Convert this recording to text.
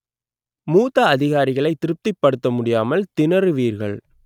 மூத்த அதிகாரிகளை திருப்திபடுத்த முடியாமல் திணறுவீர்கள்